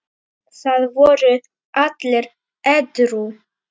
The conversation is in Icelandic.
Það voru allir edrú.